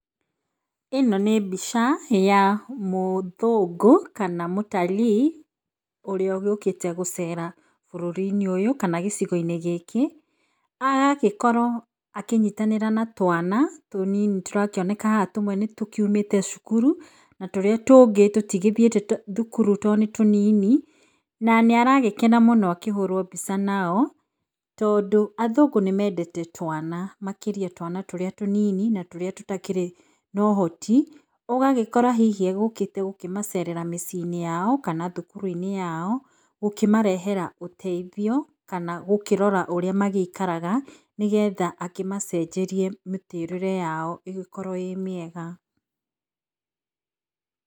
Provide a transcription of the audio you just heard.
ĩno ĩ mbica ya mũthũngũ kana mtalii ũrĩa ũgĩũkĩte gũcera bũrũri-inĩ ũyũ kana gĩcigo-inĩ gĩkĩ. Agagĩkorwo akĩnyitanĩra na twana tũnini tũrakĩoneka haha tũmwe tũgũkiumĩte cukuru, na tũrĩa tũngĩ tũtigũthiĩte thukuru tondũ nĩ tũnini. Na nĩaragĩkena mũno akĩhũrwo mbica nao tondũ athũngũ nĩmendete twana makĩria twana tũrĩa tũnini na tũtakĩrĩ na ũhoti. Ũgagĩkora hihi agũgĩũkĩte kũmacerera mĩcii-inĩ yao kana thukuru-inĩ yao gũkĩmarehera ũteithio, kana gũkĩrora ũrĩa magĩikaraga, nĩgetha akĩmacenjerie mĩtũrĩre yao ĩgĩkorwo ĩrĩ mĩega.